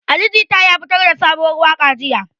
Ali Jita ya fitar da sabuwar waka jiya.